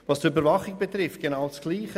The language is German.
Bei der Überwachung gilt genau dasselbe: